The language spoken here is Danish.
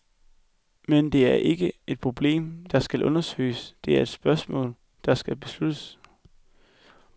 Men det er ikke et problem, der skal undersøges, det er et spørgsmål, der skal besluttes.